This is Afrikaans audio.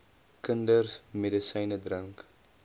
kinders medisyne drink